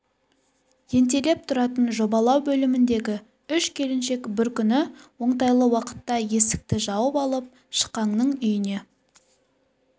ентелеп тұратын жобалау бөліміндегі үш келіншек бір күні оңтайлы уақытта есікті жауып алып шықаңның үйіне